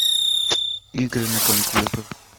игры на компьютер